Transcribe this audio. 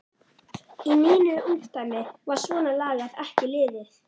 Í mínu ungdæmi var svona lagað ekki liðið.